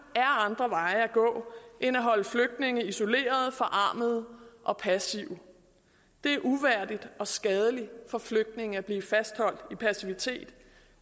er andre veje at gå end at holde flygtninge isoleret forarmede og passive det er uværdigt og skadeligt for flygtninge at blive fastholdt i passivitet